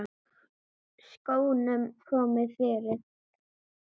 Skónum komið fyrir?